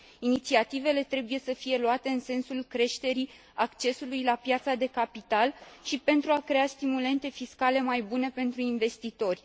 Inițiativele trebuie să fie luate în sensul creșterii accesului la piața de capital și pentru a crea stimulente fiscale mai bune pentru investitori.